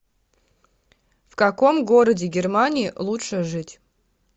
в каком городе германии лучше жить